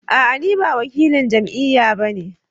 A'a ni ba wakilan jam'iyya ba ne